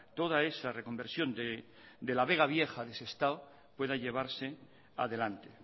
toda esa reconversión de la vega vieja de sestao pueda llevarse adelante